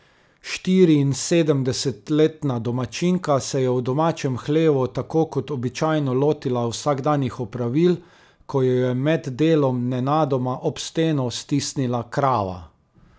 Štiriinsedemdesetletna domačinka se je v domačem hlevu tako kot običajno lotila vsakdanjih opravil, ko jo je med delom nenadoma ob steno stisnila krava.